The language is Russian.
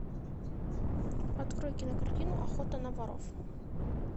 открой кинокартину охота на воров